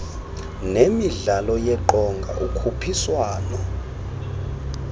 nemidlalo yeqonga ukhuphiswano